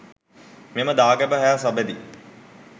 මෙම දාගැබ හා සබැඳි